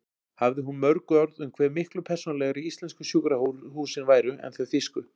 Hafði hún mörg orð um hve miklu persónulegri íslensku sjúkrahúsin væru en þau þýsku.